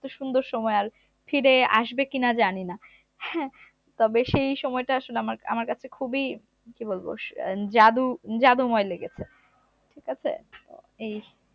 এতো সুন্দর সময় আর ফিরে আসবে কিনা জানিনা হ্যা তবে সেই সময়টা আমার কাছে খুবই কি বলবো জাদু~জাদুময় লেগেছে ঠিকাছে এই